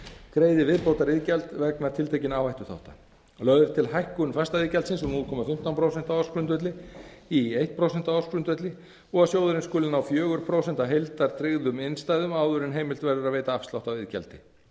greiði viðbótariðgjald vegna tiltekinna áhættuþátta lögð er til hækkun fastaiðgjaldsins úr núll komma fimmtán prósent á ársgrundvelli í eitt prósent á ársgrundvelli og að sjóðurinn skuli ná fjögur prósent af heildartryggðum innstæðum áður en heimilt evrur að veita afslátt af iðgjaldi